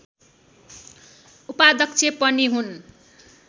उपाध्यक्ष पनि हुन्